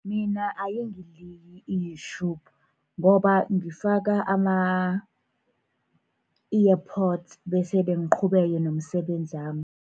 Mina ayingiliyi i-Youtube ngoba ngifaka ama-earpods, bese ngiqhubeke nomsebenzami.